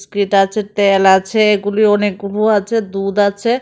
আছে ত্যাল আছে এগুলো অনেক গুঁড়ো আছে দুধ আছে।